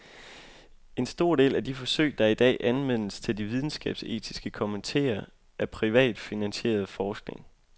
En stor del af de forsøg, der i dag anmeldes til de videnskabsetiske komiteer, er privat finansieret forskning.